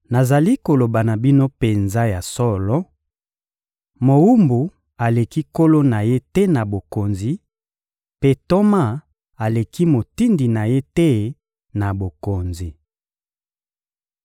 Nazali koloba na bino penza ya solo: mowumbu aleki nkolo na ye te na bokonzi, mpe ntoma aleki motindi na ye te na bokonzi.